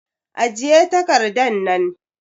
Ajiye takardan nan!